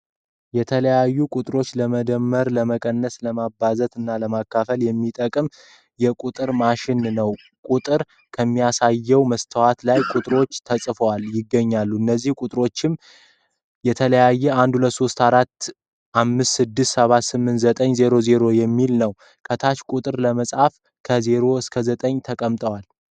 የተለያዩ ቁጥሮችን ለመደመር፣ ለመቀነስ፣ ለማባዛት እና ለማካፈል የሚጠቅም የቁጥር ማሽን ነዉ። ቁጥር ከሚያሳየዉ መስታወት ላይ ቁጥሮቹ ተፅፈዉ ይገኛሉ። እነዚህ ቁጥሮች "123'456'789'000" የሚል ነዉ። ከታች ቁጥሮችን ለመፃፍ ከ "0 እስከ 9" ተቀምጠዋል።